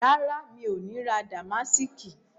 Rárá, mi ò ní ra Damásìkì